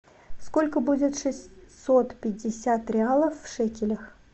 сколько будет шестьсот пятьдесят реалов в шекелях